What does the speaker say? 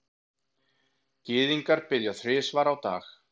Gyðingar biðja þrisvar á dag.